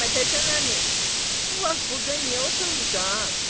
Məmmədhəsən əmi, bu vaxt burda niyə oturmursan?